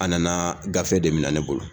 A nana gafe de minɛ ne bolo.